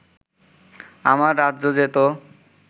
আমার রাজ্য যেত